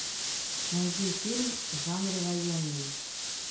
найди фильм в жанре военный